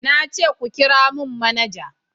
Na ce ku kira mun manaja!